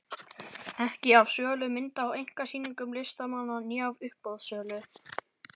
Ekki af sölu mynda á einkasýningum listamanna né af uppboðssölu.